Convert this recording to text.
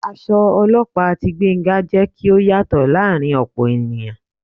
Aṣọ olóòpa tí Gbénga, jé kí ó yàtọ laarin opo ènìyàn